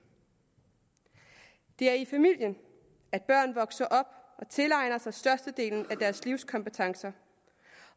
det er i familien at børn vokser op og tilegner sig størstedelen af deres livskompetencer